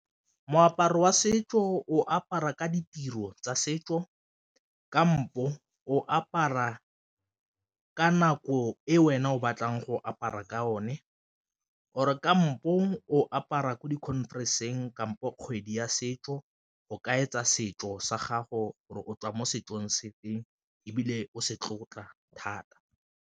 Moaparo wa setso o apara ka ditiro tsa setso kampo o apara ka nako e wena o batlang go apara ka o ne or-e ka mo puong o apara ko di-conference-ng kampo kgwedi ya setso, o kaetsa setso sa gago gore o tswa mo setsong se feng ebile o se tlotla thata.